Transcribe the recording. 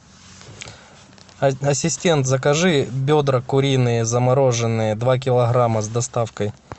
ассистент закажи бедра куриные замороженные два килограмма с доставкой